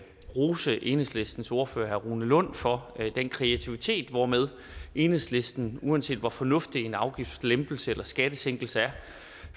rose enhedslistens ordfører herre rune lund for den kreativitet hvormed enhedslisten uanset hvor fornuftig en afgiftslempelse eller en skattesænkelse er